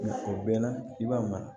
O bɛɛ na i b'a mara